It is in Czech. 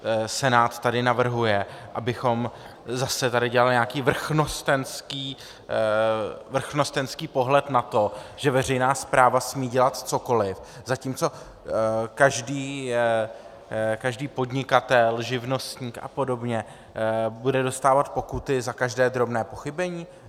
Senát tady navrhuje, abychom tady zase dělali nějaký vrchnostenský pohled na to, že veřejná správa smí dělat cokoli, zatímco každý podnikatel, živnostník a podobně bude dostávat pokuty za každé drobné pochybení?